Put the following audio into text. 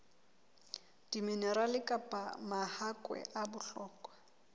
diminerale kapa mahakwe a bohlokwa